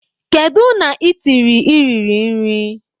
Kedu na itiri i riri nri?